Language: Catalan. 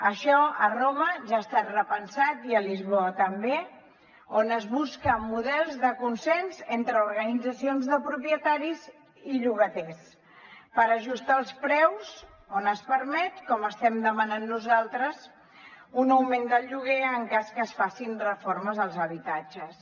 això a roma ja ha estat repensat i a lisboa també on es busquen models de consens entre organitzacions de propietaris i llogaters per ajustar els preus on es permet com estem demanant nosaltres un augment del lloguer en cas que es facin reformes als habitatges